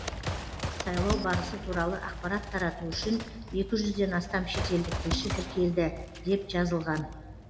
сайлау барысы туралы ақпарат тарату үшін екі жүзден астам шетелдік тілші тіркелді деп жазылған